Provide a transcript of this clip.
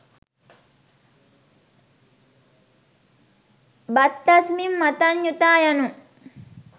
භත්තස්මිං මත්තඤ්ඤුතා යනු